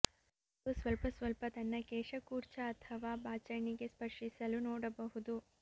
ಒಂದು ಸ್ವಲ್ಪ ಸ್ವಲ್ಪ ತನ್ನ ಕೇಶ ಕೂರ್ಚ ಅಥವಾ ಬಾಚಣಿಗೆ ಸ್ಪರ್ಶಿಸಲು ನೋಡಬಹುದು